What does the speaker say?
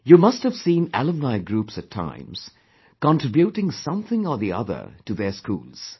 You must have seen alumni groups at times, contributing something or the other to their schools